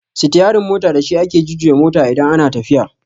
Sitiyarin mota da shi ake jujjuya mota idan ana tafiya